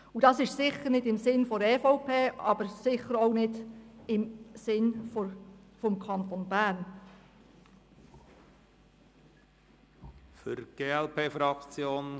Das ist sicher nicht im Sinn der EVP und sicher auch nicht im Sinn des Kantons Bern.